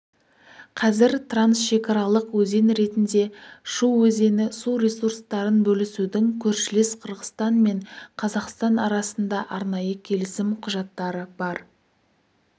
қазір трансшекаралық өзен ретінде шу өзені су ресурстарын бөлісудің көршілес қырғызстан мен қазақстан арасында арнайы келісім құжаттары бар